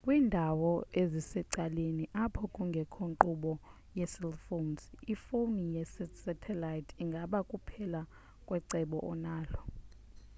kwindawo ezisecaleni apho kungekho nkqubo yecell phones ifoni yesatellite ingaba kuphela kwecebo onalo